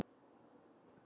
Eða er slíkt orð til?